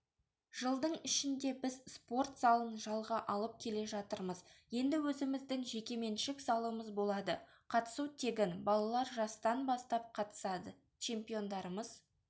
жылдың ішінде біз спорт залын жалға алып келе жатырмыз енді өзіміздің жекеменшік залымыз болады қатысу тегін балалар жастан бастап қатысады чемпиондарымыз